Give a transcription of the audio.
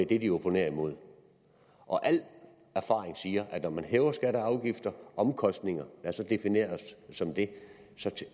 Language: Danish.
det de opponerer imod og al erfaring siger at når man hæver skatter og afgifter omkostninger der så defineres som det så